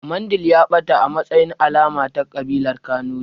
Mandil ya ɓata a matsayin alama ta ƙabilar kanuri